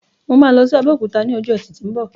Mo ma lọ sí Abéòkúta ni ọjọ ẹti ti o mbọ.